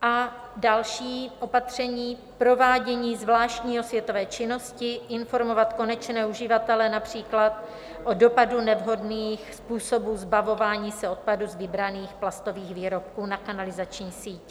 A další opatření: provádění zvláštní osvětové činnosti, informovat konečné uživatele - například o dopadu nevhodných způsobů zbavování se odpadu z vybraných plastových výrobků na kanalizační síť.